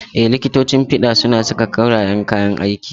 Ee, likitocin fiɗa suna saka koreyan kayan aiki.